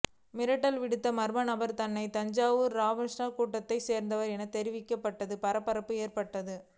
மிரட்டல் விடுத்த மர்ம நபர் தன்னை தாவூத் இப்ராஹிம் கூட்டத்தை சேர்ந்தவர் என தெரிவித்ததால் பரபரப்பு ஏற்பட்டது